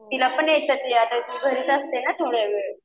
तिला पण येतं ते ती घरीच असते ना थोडा वेळ.